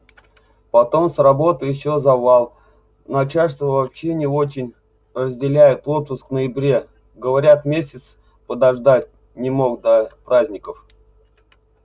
потом с работой ещё завал начальство вообще не очень разделяет отпуск в ноябре говорят месяц подождать не мог до праздников